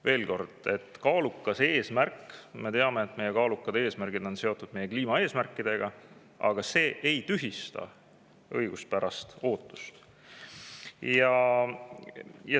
Veel kord: kaalukas eesmärk – me teame, et kaalukad eesmärgid on seotud meie kliimaeesmärkidega – ei tühista õiguspärast ootust.